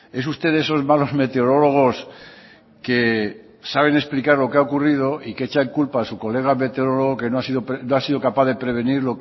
es usted de esos malos meteorólogos que saben explicar lo que ha ocurrido y que echan culpa a su colega meteorólogo que no ha sido capaz de prevenir